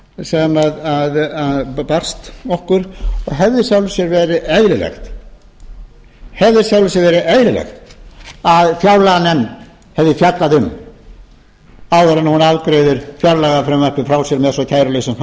ég vísa að öðru leyti til þessarar ítarlegu ályktunar félags framhaldsskólakennara sem barst okkur og að hefði í sjálfu sér verið eðlilegt að fjárlaganefnd hefði fjallað um áður en hún afgreiðir fjárlagafrumvarpið frá sér með svo kæruleysislegum